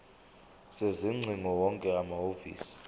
sezingcingo wonke amahhovisi